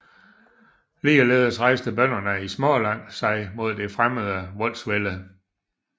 Ligeledes rejste bønderne i Småland sig mod det fremmede voldsvælde